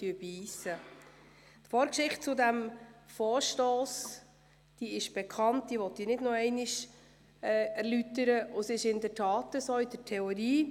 Die Vorgeschichte dieses Vorstosses ist bekannt, diese möchte ich nicht erneut erläutern.